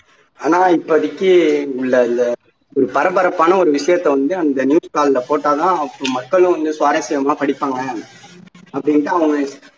ஆனா இப்போதைக்கு உள்ள அந்த பரபரப்பான ஒரு விஷயத்தை வந்து அந்த news தாளில போட்டா தான் மக்களும் வந்து சுவாரசியமா படிப்பாங்க அப்படின்னுட்டு அவங்க